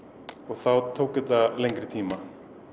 þá tók þetta lengri tíma